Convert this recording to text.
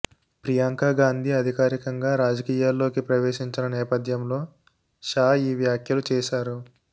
ప్రియాంక గాంధీ అధికారికంగా రాజకీయాల్లోకి ప్రవేశించిన నేపథ్యంలో షా ఈ వ్యాఖ్యలు చేశారు